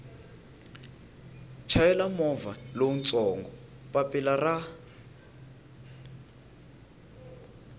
chayela movha lowutsongo papilla ra